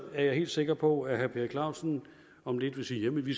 er jeg helt sikker på at herre per clausen om lidt vil sige at vi